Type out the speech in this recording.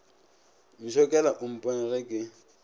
ntšhokela o mpone ge ke